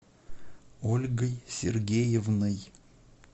ольгой сергеевной